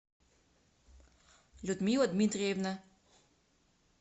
людмила дмитриевна